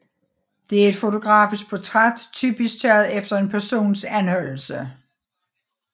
Det er et fotografisk portræt typisk taget efter en persons anholdelse